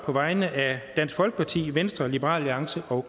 på vegne af dansk folkeparti venstre liberal alliance og